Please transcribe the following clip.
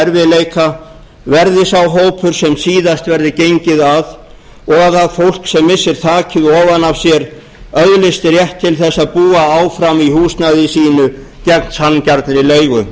erfiðleika verði sá hópur sem síðast verði gengið að og að það fólk sem missir þakið ofan af sér öðlist rétt til þess að búa áfram í húsnæði sínu gegn sanngjarnri leigu